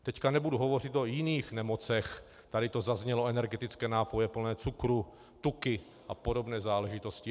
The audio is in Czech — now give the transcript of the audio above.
Teď nebudu hovořit o jiných nemocech, tady to zaznělo, energetické nápoje plné cukru, tuky a podobné záležitosti.